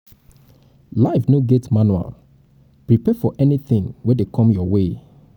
life no get um manual prepare for anything um wey um dey come your way